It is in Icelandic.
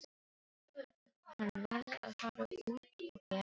Hann varð að fara út og gera eitthvað.